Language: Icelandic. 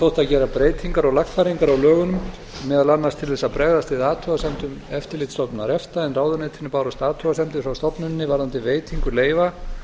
þótti að gera breytingar og lagfæringar á lögunum meðal annars til þess að bregðast við athugasemdum eftirlitsstofnunar efta en ráðuneytinu bárust athugasemdir frá stofnuninni varðandi veitingu leyfa